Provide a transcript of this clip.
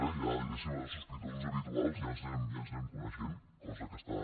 ja diguéssim allò els sospitosos habituals ja ens anem coneixent cosa que està